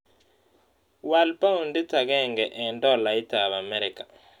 Wal paondit agenge eng' dolaitap amerika